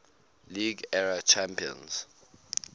league era champions